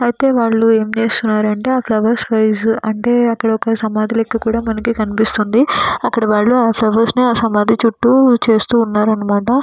యితే వాళ్ళు ఏమి చేస్తున్నారు అంటే అక్కడ ఒక సైజు అంటే మనకు ఒక సమాధి లాగా కనిపిస్తున్నది అక్కడ వాళ్ళు సమాధి చుట్టు జనలు ఉన్నారు అన్న మాట.